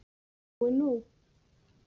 En nú er nóg!